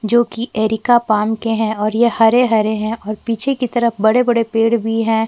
जो कि यह एरिया पान के है और ये हरे - हरे है और पीछे की तरफ बड़े - बड़े पेड़ भी है।